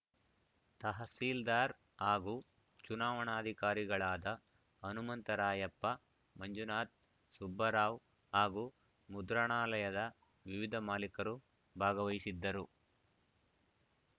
ತಹಶೀಲ್ದಾರ್ ಹಾಗೂ ಚುನಾವಣಾಧಿಕಾರಿಗಳಾದ ಹನುಮಂತರಾಯಪ್ಪ ಮಂಜುನಾಥ್ ಸುಬ್ಬರಾವ್ ಹಾಗೂ ಮುದ್ರಣಾಲಯದ ವಿವಿಧ ಮಾಲೀಕರು ಭಾಗವಹಿಸಿದ್ದರು